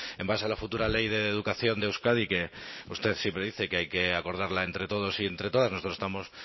en base a la futura ley de educación de euskadi que usted siempre dice que hay que acordarla entre todos y entre todas nosotros estamos